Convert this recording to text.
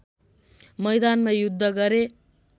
मैदानमा युद्ध गरे